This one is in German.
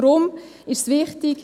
Deshalb ist es wichtig …